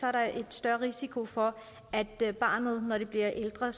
er der en større risiko for at barnet når det bliver ældre